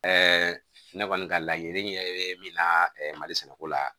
ne kɔni ka laɲini ye min na mali sɛnɛko la